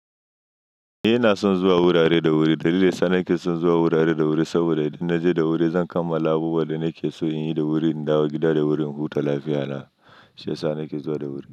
Eh ina son zuwa wurare da wuri. Dalilin ya sa nake son zuwa wurare da wuri saboda idan naje da wuri zan kammala abubuwan da nake so in yi da wuri, in dawo gida da wuri, in huta, lafiyana. Shi ya sa nake zuwa da wuri.